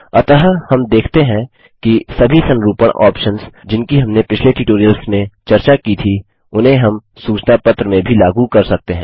अतः हम देखते हैं कि सभी संरूपणफॉर्मेटिंग ऑप्शन्स जिनकी हमनें पिछले ट्यूटोरियल्स में चर्चा की थी उन्हें हम सूचना पत्र में भी लागू कर सकते हैं